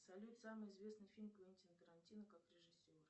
салют самый известный фильм квентина тарантино как режиссера